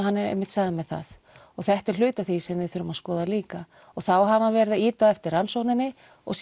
hann einmitt sagði mér það og þetta er hluti af því sem við þurfum að skoða líka og þá hafa þeir verið að ýta á eftir rannsókninni og